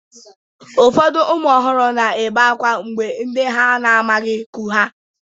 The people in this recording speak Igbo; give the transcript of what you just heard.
Ụfọdụ ụmụ ọhụrụ na-ebe akwa mgbe ndị ha na-amabughị bu ha.